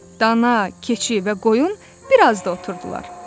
Dana, keçi və qoyun biraz da oturdular.